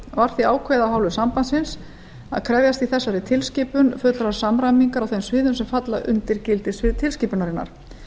var því ákveðið af hálfu sambandsins að krefjast í þessari tilskipun fullrar samræmingar á þeim sviðum sem falla undir gildissvið tilskipunarinnar